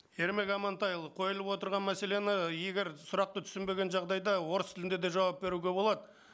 ермек амантайұлы қойылып отырған мәселені егер сұрақты түсінбеген жағдайда орыс тілінде де жауап беруге болады